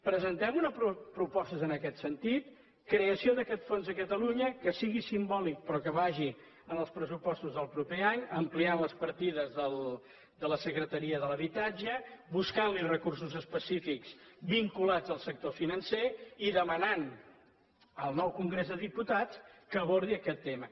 presentem unes propostes en aquest sentit creació d’aquest fons a catalunya que sigui simbòlic però que vagi en els pressupostos del proper any ampliant les partides de la secretaria de l’habitatge buscant li recursos específics vinculats al sector financer i demanant al nou congrés dels diputats que abordi aquest tema